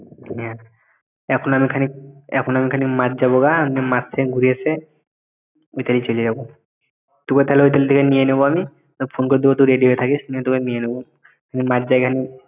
হ্যাঁ এখন আমি খানিক এখন আমি খানিক মাঠ যাব গা মাঠ থেকে ঘুরে এসে ওইতালি চলে যাব। তুগে তালে তোকে ওইতাল থেকে নিয়ে নেব আমি তোর phone করে দেবো তুই ready হয়ে থাকিস তোকে নিয়ে নেব। আমি মাঠ দিয়া খানিক